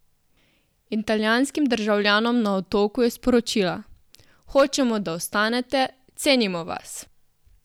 Italijanskim državljanom na Otoku je sporočila: "Hočemo, da ostanete, cenimo vas".